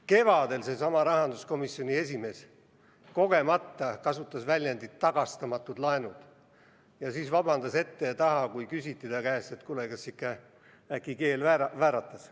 Kevadel kasutas seesama rahanduskomisjoni esimees kogemata väljendit "tagastamatud laenud" ja siis vabandas ette ja taha, kui ta käest küsiti, et kuule, kas ikka äkki keel vääratas.